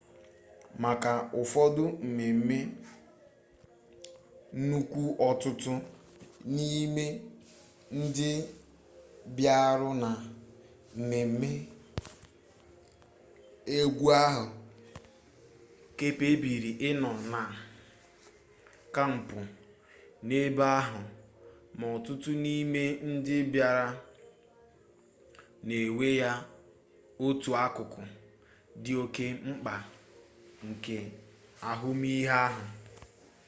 maka ụfọdụ mmemme nnukwu ọtụtụ n'ime ndị bịara na mmemme egwu ahụ kpebiri ịnọ na kampụ n'ebe ahụ ma ọtụtụ n'ime ndị bịara na-ewe ya otu akụkụ dị oke mkpa nke ahụmihe ahụ